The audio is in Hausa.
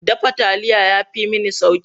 Dafa taliya ya fi mini sauƙi.